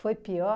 Foi pior?